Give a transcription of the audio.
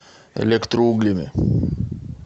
электроуглями